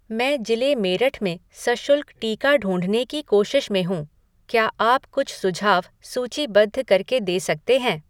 मैं जिले मेरठ में सशुल्क टीका ढूँढने की कोशिश में हूँ। क्या आप कुछ सुझाव सूचीबद्ध करके दे सकते हैं?